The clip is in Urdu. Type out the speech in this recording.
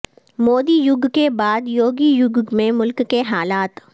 مودی یگ کے بعد یوگی یگ میں ملک کے حالات